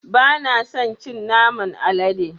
Ba na son cin naman alade.